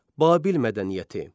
Babil mədəniyyəti.